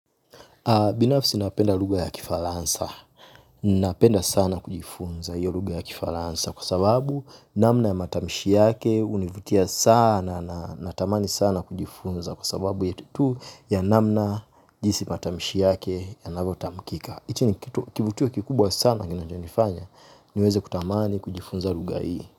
Binafsi napenda lugha ya kifaransa. Napenda sana kujifunza hio lugha ya kifaransa kwa sababu namna ya matamishi yake hunivutia sana natamani sana kujifunza kwa sababu tu ya namna jinsi matamishi yake yanavyotamkika. Hichi ni kivutio kikubwa sana kinichonifanya niweze kutamani kujifunza lugha hii.